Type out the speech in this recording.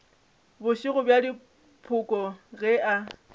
bošego bja dipoko ge e